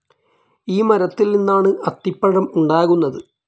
ഈ മരത്തിൽ നിന്നാണ് അത്തിപ്പഴം ഉണ്ടാകുന്നത്.